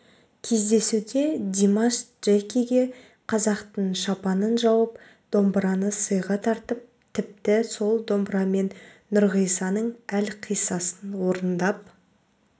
кездесуде димаш джекиге қазақтың шапанын жауып домбыраны сыйға тартып тіпті сол домбырамен нұрғисаның әлқисасын орындап